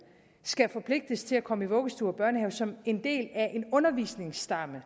skal forpligtes til at komme i vuggestue og børnehave som en del af en undervisningsstamme